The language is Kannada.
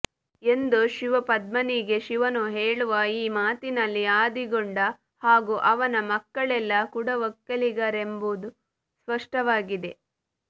ಎಂದು ಶಿವಪದ್ಮನಿಗೆ ಶಿವನು ಹೇಳುವ ಈ ಮಾತಿನಲ್ಲಿ ಆದಿಗೊಂಡ ಹಾಗೂ ಅವನ ಮಕ್ಕಳೆಲ್ಲ ಕುಡವೊಕ್ಕಲಿಗರೆಂಬುದು ಸ್ಪಷ್ಟವಾಗಿದೆ